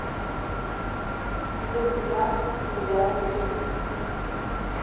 сезон тринадцать сериал стыд